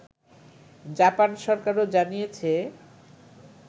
Japan সরকারও জানিয়েছে